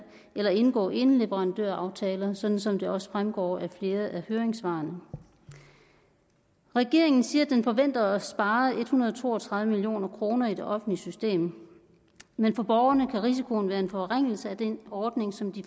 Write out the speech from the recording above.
eller at indgå eneleverandøraftaler sådan som det også fremgår af flere af høringssvarene regeringen siger at den forventer at spare en hundrede og to og tredive million kroner i det offentlige system men for borgerne kan risikoen være en forringelse af den ordning som de